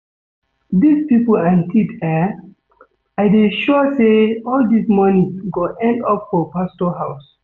Dis people and tithe eh, I dey sure say all dis money go end up for pastor house